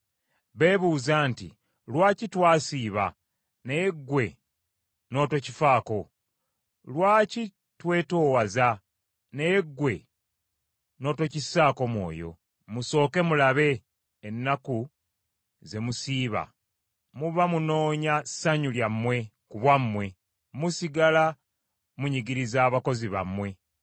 Beebuuza nti, “Lwaki twasiiba, naye ggwe n’otokifaako? Lwaki twetoowaza naye ggwe n’otokissaako mwoyo?” Musooke mulabe, ennaku ze musiiba muba munoonya ssanyu lyammwe ku bwammwe, musigala munyigiriza abakozi bammwe.